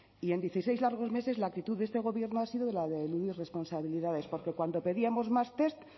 y en dieciséis largos meses la actitud de este gobierno ha sido la de eludir responsabilidades porque cuando pedíamos más test